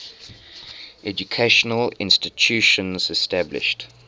educational institutions established